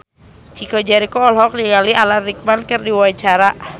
Chico Jericho olohok ningali Alan Rickman keur diwawancara